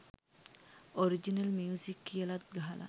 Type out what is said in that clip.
original music කියලත් ගහලා